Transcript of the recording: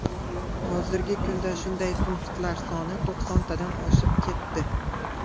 Hozirgi kunda shunday punktlar soni to‘qsontadan oshib ketdi.